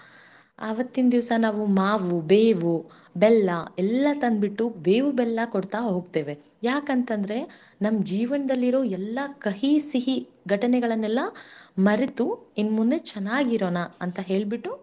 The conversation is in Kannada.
ಅವತ್ತಿನ ದಿವಸಾ ನಾವು ಮಾವು, ಬೇವುಬೆಲ್ಲ ಎಲ್ಲಾ ತಂದ ಬಿಟ್ಟು ಬೇವು ಬೆಲ್ಲಾ ಕೊಡ್ತಾ ಹೋಗ್ತೇವೆ ಯಾಕಂತ ಅಂದ್ರೆ, ನಮ್ಮ ಜೀವನದಲ್ಲಿ ಇರುವ ಎಲ್ಲಾ ಕಹಿ ಸಿಹಿ ಘಟನೆಗಳನ್ನೆಲ್ಲ ಮರೆತು ಇನ್ಮುಂದೆ ಚೆನ್ನಾಗಿರೋಣ ಅಂತ ಹೇಳ್ಬಿಟ್ಟು.